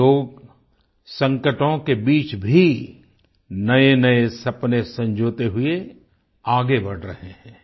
ये लोग संकटों के बीच भी नएनए सपने संजोते हुए आगे बढ़ रहे हैं